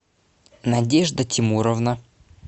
надежда тимуровна